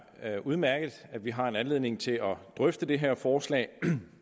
er udmærket at vi har en anledning til at drøfte det her forslag